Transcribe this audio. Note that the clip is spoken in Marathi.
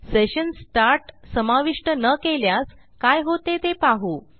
सेशन स्टार्ट समाविष्ट न केल्यास काय होते ते पाहू